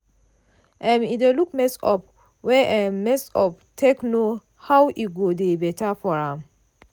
im dey look mess up wey im messup take know hwo e go dey better for am.